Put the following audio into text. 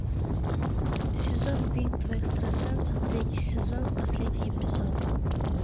сезон битвы экстрасенсов третий сезон последний эпизод